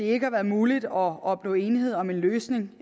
ikke har været muligt at opnå enighed om en løsning